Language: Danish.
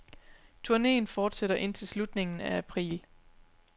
Turneen fortsætter indtil slutningen af april.